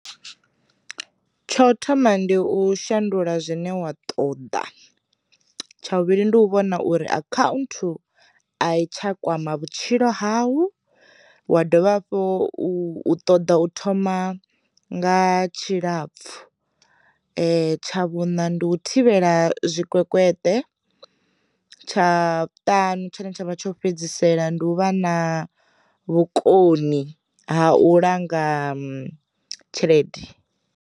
Tsho thoma ndi u shandula zwine wa ṱoḓa, tsha vhuvhili ndi u vhona uri akhanthu a i tsha kwama vhutshilo hau wa dovha hafhu u ṱoḓa u thoma nga tshilapfhu, tsha vhuṋa ndi u thivhela tshikwekwete, tsha vhuṱanu tshine tshavha tsho fhedzisela, ndi u vha na vhukoni ha u langa tshelede.